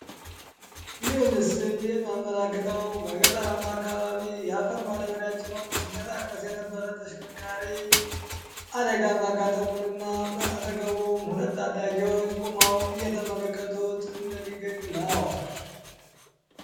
ይህ ምስል የሚያመላክተው በገጠራማ አካባቢ የአፈር ማደበሪያ ጭኖ ሲመንቀሳቀስ የነበረ ተሽከርካሪ አደጋ ማጋጠሙን እና በአጠገቡም ሁለት ታዳጊዎች ቁመው እየተመለከቱት እንደሚገኙ ነው።